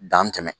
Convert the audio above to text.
Dan tɛmɛ